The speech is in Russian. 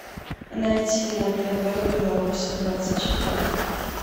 найти на тв беларусь двадцать четыре